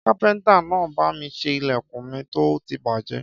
Kàpẹńtà nà bàmí sẹ ìlẹkún mi tó tì bàjẹ.